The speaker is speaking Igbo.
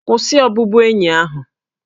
Kwụsị ọbụbụenyi ahụ!